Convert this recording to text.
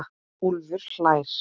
Úlfur hlær.